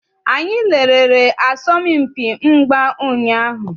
Anyị lerere asọmpi mgba ụnyaahụ.